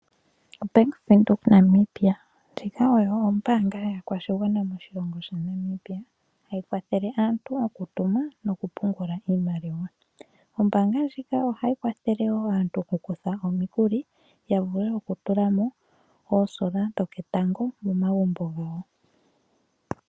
OBank Windhoek Namibia ndjika oyo ombaanga yaakwashigwana moshilongo shaNamibia hayi kwathele aantu okutuma nokupungula iimaliwa. Ombaanga ndjika ohayi kwathele aantu omikuli ya vule okutula mo olusheno lwoketango momagumbo gawo.